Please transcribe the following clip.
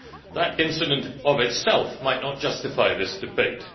That incident of itself might not justify this debate